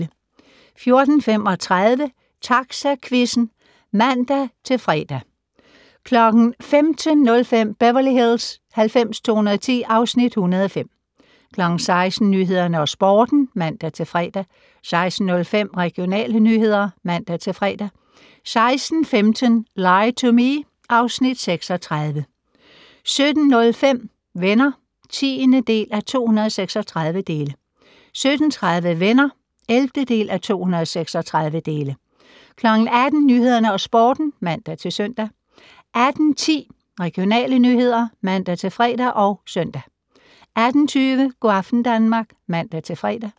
14:35: Taxaquizzen (man-fre) 15:05: Beverly Hills 90210 (Afs. 105) 16:00: Nyhederne og Sporten (man-fre) 16:05: Regionale nyheder (man-fre) 16:15: Lie to Me (Afs. 36) 17:05: Venner (10:236) 17:30: Venner (11:236) 18:00: Nyhederne og Sporten (man-søn) 18:10: Regionale nyheder (man-fre og -søn) 18:20: Go' aften Danmark (man-fre)